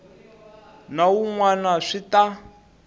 na wun wana swi ta